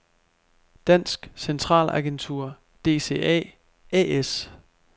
Dansk Centralagentur DCA A/S